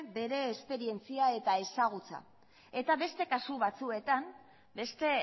bere esperientzia eta ezagutza eta beste kasu batzuetan beste